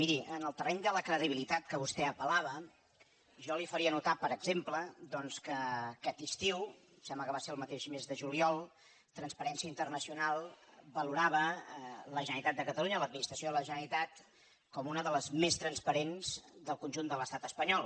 miri en el terreny de la credibilitat que vostè apel·lava jo li faria notar per exemple doncs que aquest estiu em sembla que va ser el mateix mes de juliol transparència internacional valorava la generalitat de catalunya l’administració de la generalitat com una de les més transparents del conjunt de l’estat espanyol